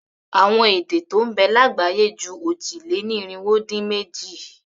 Àwọn èdè tó ń bẹ lágbàáyé ju òjì-lé-ní-irinwó-dín-méjì.